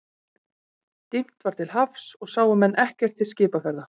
Dimmt var til hafs og sáu menn ekkert til skipaferða.